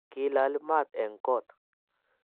Kilaali maat eng koot